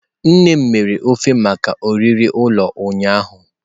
Nne m mere ofe maka oriri ụlọ ụnyahụ.